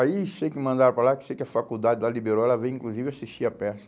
Aí sei que mandaram para lá, sei que a faculdade de lá liberou, ela veio inclusive assistir a peça.